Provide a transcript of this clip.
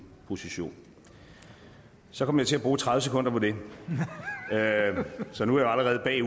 position så kom jeg til at bruge tredive sekunder på det så nu er jeg